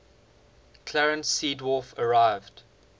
clarence seedorf arrived